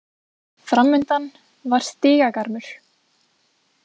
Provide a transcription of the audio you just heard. Framundan var stigagarmur.